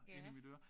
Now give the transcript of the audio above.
Ja